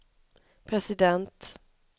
president